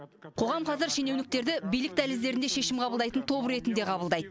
қоғам қазір шенеуніктерді билік дәліздерінде шешім қабылдайтын топ ретінде қабылдайды